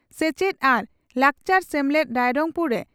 ᱥᱮᱪᱮᱛ ᱟᱨ ᱞᱟᱠᱪᱟᱨ ᱥᱮᱢᱞᱮᱫ